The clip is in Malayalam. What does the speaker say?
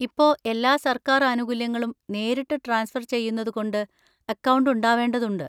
ഇപ്പൊ എല്ലാ സര്‍ക്കാര്‍ ആനുകൂല്യങ്ങളും നേരിട്ട് ട്രാൻസ്ഫർ ചെയ്യുന്നതുകൊണ്ട് അക്കൗണ്ട് ഉണ്ടാവേണ്ടതുണ്ട്.